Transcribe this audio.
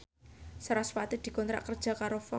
sarasvati dikontrak kerja karo Fox